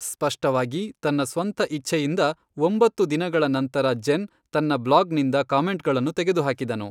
ಸ್ಪಷ್ಟವಾಗಿ ತನ್ನ ಸ್ವಂತ ಇಚ್ಛೆಯಿಂದ ಒಂಬತ್ತು ದಿನಗಳ ನಂತರ ಜೆನ್ ತನ್ನ ಬ್ಲಾಗ್ನಿಂದ ಕಾಮೆಂಟ್ಗಳನ್ನು ತೆಗೆದುಹಾಕಿದನು.